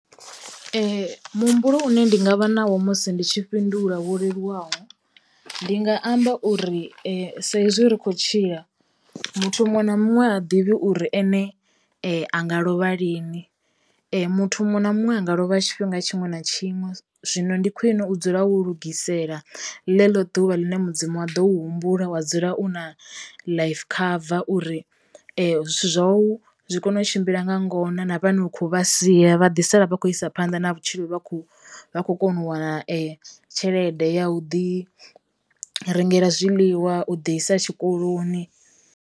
Muhumbulo une ndi nga vha nawo musi ndi tshi fhindula wo leluwaho ndi nga amba uri saizwi ri khou tshila muthu muṅwe na muṅwe ha ḓivhi uri ene anga lovha lini. Muthu muṅwe na muṅwe anga lovha tshifhinga tshiṅwe na tshiṅwe zwino ndi khwine u dzula wo lugisela ḽeḽo ḓuvha ḽine mudzimu a ḓo u humbula wa dzula u na life cover uri zwithu zwa u zwi kono u tshimbila nga ngona na vhane u kho vha sia vha ḓi sala vha kho isa phanḓa na vhutshilo vha kho vha kho kona u wana tshelede ya u ḓi rengela zwiḽiwa, u ḓi isa tshikoloni.